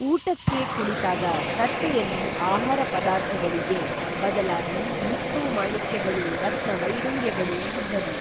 ಊಟಕ್ಕೇ ಕುಳಿತಾಗ ತಟ್ಟೆಯಲ್ಲಿ ಆಹಾರಪದಾರ್ಥಗಳಿಗೇ ಬದಲಾಗಿ ಮುತ್ತೂ ಮಾಣಿಕ್ಯಗಳೂ ರತ್ನ ವೈಡೂರ್ಯಗಳೂ ಇದ್ದವು